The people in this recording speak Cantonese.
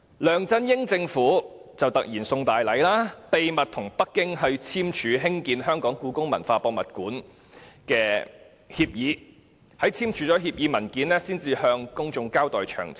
梁振英政府卻突然"送大禮"，秘密跟北京簽署興建故宮館的協議，在簽署協議後才向公眾交代詳情。